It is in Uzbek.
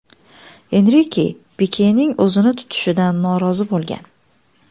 Enrike Pikening o‘zini tutishidan norozi bo‘lgan.